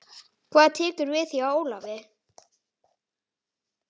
Hvað tekur við hjá Ólafi?